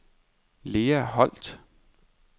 Lea Holt